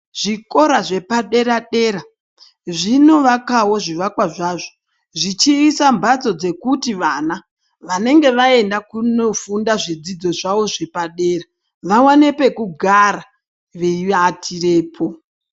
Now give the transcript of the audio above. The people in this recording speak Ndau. Zvikora zvepadera dera zvinovakawo zviwakwa zvazvo zvichiisa mbatso dzekuti vana vanenge vaenda kunofunda zvidzidzo zvavo zvepadera vavane pekugara veivatirepo